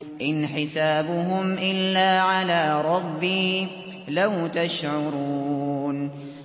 إِنْ حِسَابُهُمْ إِلَّا عَلَىٰ رَبِّي ۖ لَوْ تَشْعُرُونَ